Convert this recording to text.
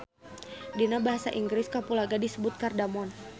Dina basa Inggris kapulaga disebut cardamom